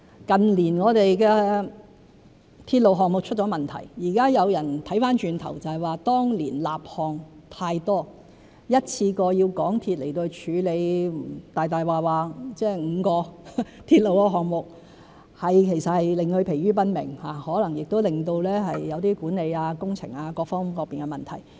近年我們的鐵路項目出了問題，現在有人回頭看說是當年立項太多，一次過要香港鐵路有限公司處理5個鐵路項目，其實是令其疲於奔命，亦可能令到一些管理、工程各方面出現問題。